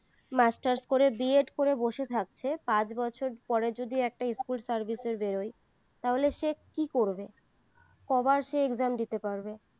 masters করে B Ed করে বসে থাকছে পাঁচ বছর পরে যদি একটা স্কুল সার্ভিস এর বেড়ায় তাহলে সে কি করবে কয়বার সে exam দিতে পারবে